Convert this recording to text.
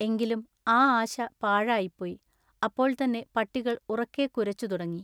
എങ്കിലും ആ ആശ പാഴായിപ്പോയി. അപ്പോൾ തന്നെ പട്ടികൾ ഉറക്കെ കുരച്ചു തുടങ്ങി.